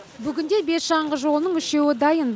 бүгінде бес шаңғы жолының үшеуі дайын